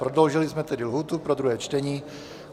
Prodloužili jsme tedy lhůtu pro druhé čtení.